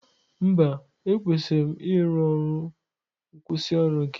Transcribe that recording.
Mba, ekwesịrị ịrụ ọrụ nkwusioru gị.